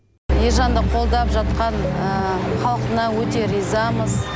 ержанды қолдап жатқан халқына өте ризамыз